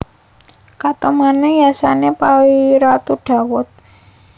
Katonané yasané Ratu Dawud